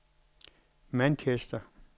Manchester